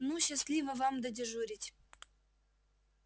ну счастливо вам додежурить